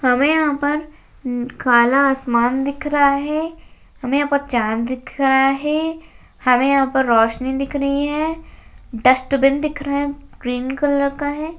हमें यहां पर काला आसमान दिख रहा है हमें यहां पर चांद दिख रहा है हमें यहां पर रोशनी दिख रही है डस्टबिन दिख रहा है ग्रीन कलर का है।